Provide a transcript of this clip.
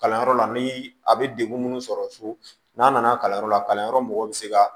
Kalanyɔrɔ la ni a bɛ degun minnu sɔrɔ so n'a nana kalanyɔrɔ la kalanyɔrɔ mɔgɔw bɛ se ka